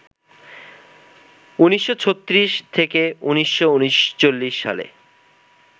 ১৯৩৬-১৯৩৯ সালে